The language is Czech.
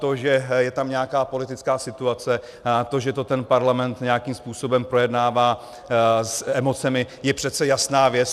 To, že je tam nějaká politická situace, to, že to ten parlament nějakým způsobem projednává s emocemi, je přece jasná věc.